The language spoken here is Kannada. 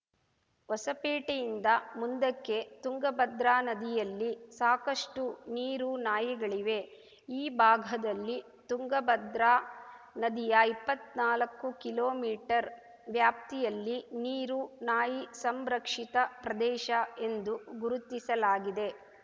ಹೊಸಪೇಟೆಯಿಂದ ಮುಂದಕ್ಕೆ ತುಂಗಭದ್ರಾ ನದಿಯಲ್ಲಿ ಸಾಕಷ್ಟುನೀರುನಾಯಿಗಳಿವೆ ಈ ಭಾಗದಲ್ಲಿ ತುಂಗಭದ್ರಾ ನದಿಯ ಇಪ್ಪತ್ನಾಲ್ಕು ಕಿಲೋಮೀಟರ್ ವ್ಯಾಪ್ತಿಯಲ್ಲಿ ನೀರು ನಾಯಿ ಸಂರಕ್ಷಿತ ಪ್ರದೇಶ ಎಂದೂ ಗುರುತಿಸಲಾಗಿದೆ